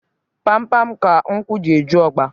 Pam pam ka nkwụ ji eju ọgba